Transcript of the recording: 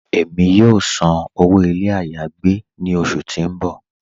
Ẹ̀mi yóò sàn owó ilẹ̀ ayé-agbè ni ọṣù tí n bọ́.